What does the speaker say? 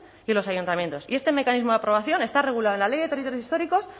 y los ayuntamientos y este mecanismo de aprobación está regulado en la ley de territorios históricos